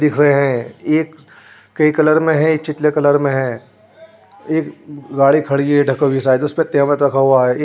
दिख रहे हैं ये एक कई कलर में है चितले कलर में है एक गाड़ी खड़ी है ढकी हुई शायद उसमें तेमद रखा हुआ है एक --